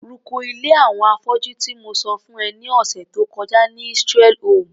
rúko ilé àwọn afọ́jú tí mo sọ fún ẹ ní ọ̀sẹ̀ tó kọjá ni Israel home.